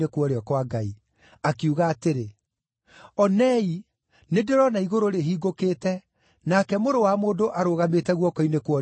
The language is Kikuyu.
Akiuga atĩrĩ, “Onei, nĩndĩrona igũrũ rĩhingũkĩte nake Mũrũ wa Mũndũ arũgamĩte guoko-inĩ kwa ũrĩo kwa Ngai.”